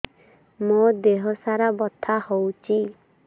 ମୋ ଦିହସାରା ବଥା ହଉଚି